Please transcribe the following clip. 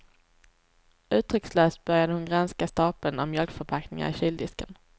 Uttryckslöst började hon granska stapeln av mjölkförpackningar i kyldisken.